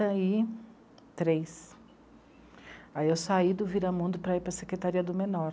e três, aí eu saí do Viramundo para ir para a secretaria do menor.